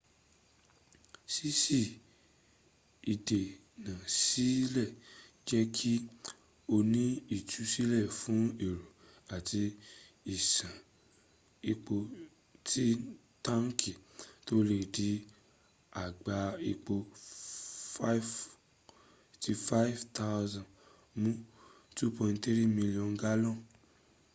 ṣíṣí ìdè ná sílẹ̀ jẹ́ kí ;ó ní ìtúsílẹ̀ fún ẹ̀rọ àti ìṣàn epo sí táǹkì 'tó lè di àgbá epo 55,000 mú 2.3 million gallons